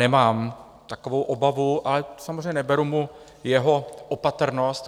Nemám takovou obavu, ale samozřejmě neberu mu jeho opatrnost.